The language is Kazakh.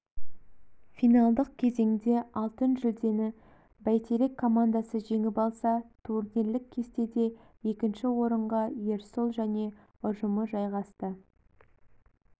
финалдық кезеңде алтын жүлдені бәйтерек командасы жеңіп алса турнирлік кестеде екінші орынға ерсұл және ұжымы жайғасты